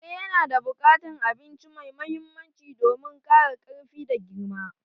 Kare yana bukatan abinci mai mahimmanci domin kara karfi da girma